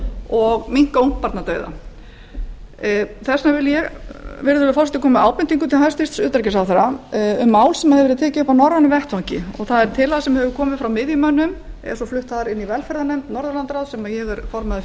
og draga úr ungbarnadauða ég vil því koma með ábendingu til hæstvirts utanríkisráðherra um mál sem tekið hefur verið upp á norrænum vettvangi það er tillaga sem komið hefur frá miðjumönnum en var flutt inn í velferðarráð norðurlandaráðs sem ég er formaður